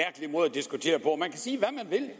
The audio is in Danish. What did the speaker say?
diskutere på man kan sige hvad man vil